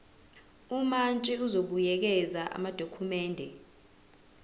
umantshi uzobuyekeza amadokhumende